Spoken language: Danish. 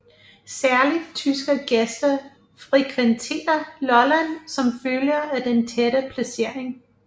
Særligt tyske gæster frekventerer Lolland som følge af den tætte placering